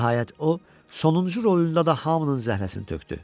Nəhayət, o, sonuncu rolunda da hamının zəhləsini tökdü.